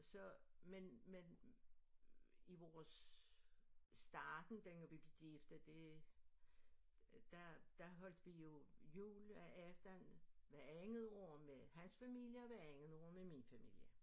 Så men men i vores starten dengang vi blev gift og det der der holdt vi jo juleaften hvert andet år med hans familie og hvert andet år med min familie